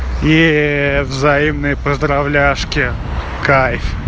и взаимные поздравляшки кайф